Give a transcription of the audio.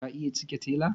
Ka iya cike tela?